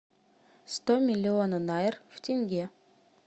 сто миллиона найр в тенге